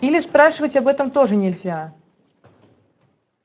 или спрашивать об этом тоже нельзя